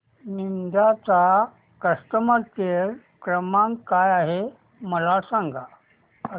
Ninja चा customer care क्रमांक काय आहे मला सांगा